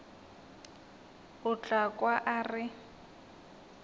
o tla kwa a re